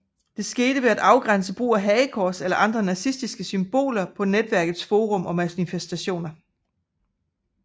Det skete ved at begrænse brug af hagekors eller andre nazistiske symboler på netværkets forum og manifestationer